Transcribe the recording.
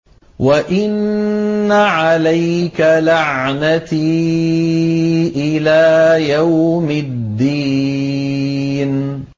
وَإِنَّ عَلَيْكَ لَعْنَتِي إِلَىٰ يَوْمِ الدِّينِ